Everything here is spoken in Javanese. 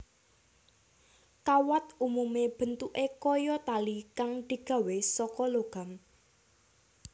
Kawat umume bentuké kaya tali kang digawé saka logam